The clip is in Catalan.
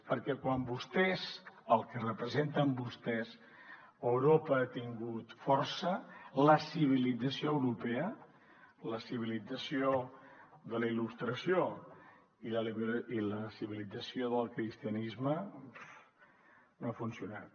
perquè quan vostès el que representen vostès a europa ha tingut força la civilització europea la civilització de la il·lustració i la civilització del cristianisme no ha funcionat